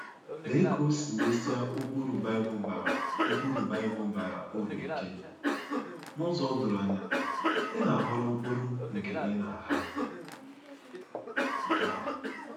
Lee ka o si mesie ụkpụrụ Bible bara ụkpụrụ Bible bara uru ike n’ụzọ doro anya: ‘Ị na-aghọrọ mkpụrụ nke ị na-agha’! — Gal.